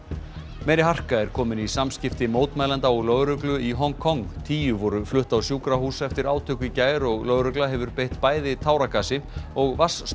meiri harka er komin í samskipti mótmælenda og lögreglu í Hong Kong tíu voru flutt á sjúkrahús eftir átök í gær og lögregla hefur beitt bæði táragasi og